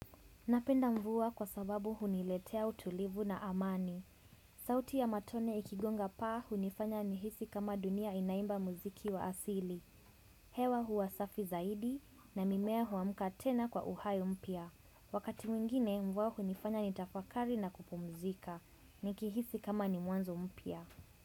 Napenda mvua kwa sababu huniletea utulivu na amani. Sauti ya matone ikigonga paa hunifanya nihisi kama dunia inaimba muziki wa asili. Hewa huwa safi zaidi na mimea huamka tena kwa uhai mpya. Wakati mwingine mvua hunifanya nitafakari na kupumzika. Nikihisi kama ni mwanzo mpya.